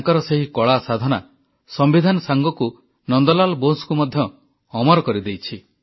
ତାଙ୍କର ସେହି କଳା ସାଧନା ସମ୍ବିଧାନ ସାଙ୍ଗକୁ ନନ୍ଦ ଲାଲ୍ ବୋଷଙ୍କୁ ମଧ୍ୟ ଅମର କରିଦେଇଛି